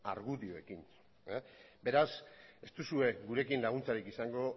argudioekin beraz ez duzue gurekin laguntzarik izango